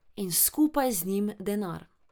In skupaj z njim denar.